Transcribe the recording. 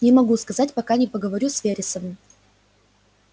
не могу сказать пока не поговорю с вересовым